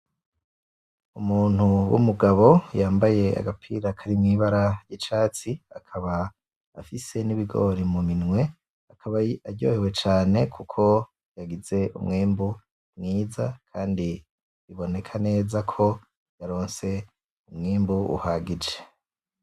Umuntu w'umugabo yambaye agapira karimw'ibara ryicatsi, akaba afise n'ibigori muminwe, akaba aryohewe cane kuko yagize umwimbu mwiza kandi bibonekanezako yaronse umwimbu uhagije.